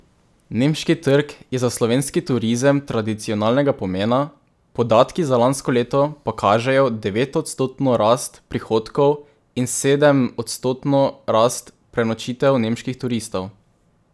Nemški trg je za slovenski turizem tradicionalnega pomena, podatki za lansko leto pa kažejo devetodstotno rast prihodov in sedemodstotno rast prenočitev nemških turistov.